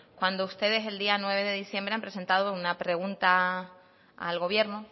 cuando ustedes el día nueve de diciembre han presentado una pregunta al gobierno